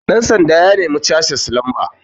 ɗansanda ya nemi casis lamba